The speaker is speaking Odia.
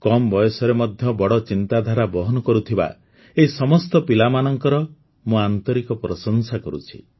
କମ ବୟସରେ ମଧ୍ୟ ବଡ଼ ଚିନ୍ତାଧାରା ବହନ କରୁଥିବା ଏହି ସମସ୍ତ ପିଲାମାନଙ୍କର ମୁଁ ଆନ୍ତରିକ ପ୍ରଶଂସା କରୁଛି